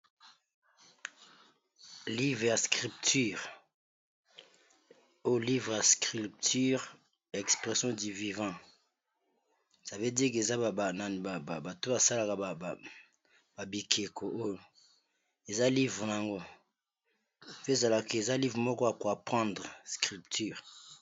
Livre ya scripture oyo livre ya scripture expression du vivant savedire ke eza babanani bato oyo basalaka babikeko oyo eza livre na yango, pe ezalaka eza livre moko ya ko apendre scripture.